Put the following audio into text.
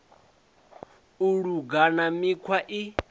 u luga na mikhwa i